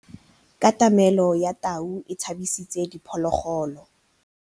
Katamêlô ya tau e tshabisitse diphôlôgôlô.